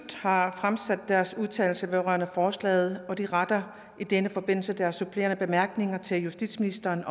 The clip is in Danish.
har fremsat deres udtalelser vedrørende forslaget og de retter i denne forbindelse deres supplerende bemærkninger til justitsministeren